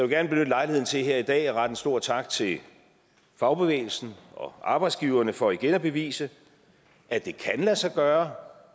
gerne benytte lejligheden til her i dag at rette en stor tak til fagbevægelsen og arbejdsgiverne for igen at bevise at det kan lade sig gøre